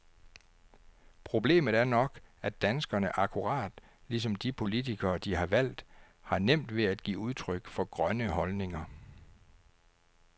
Problemet er nok, at danskerne, akkurat ligesom de politikere de har valgt, har nemt ved at give udtryk for grønne holdninger.